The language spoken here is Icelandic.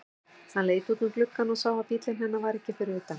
Hann leit út um gluggann og sá að bíllinn hennar var ekki fyrir utan.